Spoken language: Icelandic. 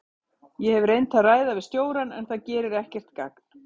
Ég hef reynt að ræða við stjórann en það gerir ekkert gagn.